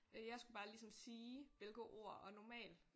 Øh jeg skulle bare ligesom sige hvilket ord og normalt